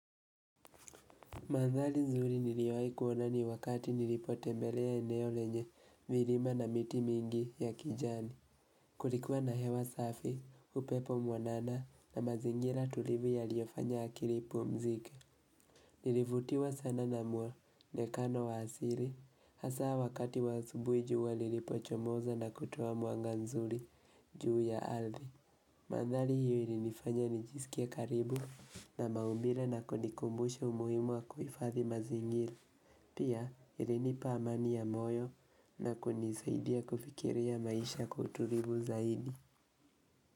Mandhari nzuri niliowahi kuona ni wakati nilipotembelea eneo lenye milima na miti mingi ya kijani. Kulikuwa na hewa safi, upepo mwanana na mazingira tulivu yaliyofanya akili ipumzike. Nilivutiwa sana na mwonekano wa asili. Hasa wakati wa asubuhi jua lilipochomoza na kutoa mwanga nzuri juu ya ardhi. Mandhari hiyo ilinifanya nijisikie karibu na maumbile na kunikumbusha umuhimu wa kuhifadhi mazingira. Pia ilinipa amani ya moyo na kunisaidia kufikiria maisha kwa utulivu zaidi.